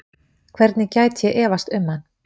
Hvernig gæti ég efast um hann?